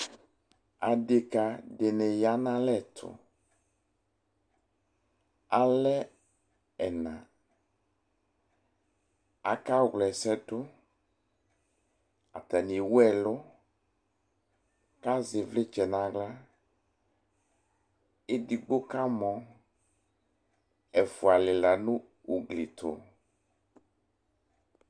adeka di ni ya no alɛ to alɛ ɛna aka wla ɛsɛ do atani ewu ɛlo ko azɛ ivlitsɛ no ala edigbo ka mɔ ɛfua lela no ugli to